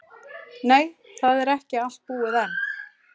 Nei, það er ekki allt búið enn.